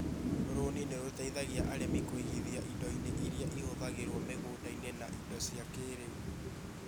Rũni ni rũteithagia arĩmi kũigithia indo-inĩ iria ihũthagĩrũo mũgũnda-inĩ na indo cia kĩĩrĩu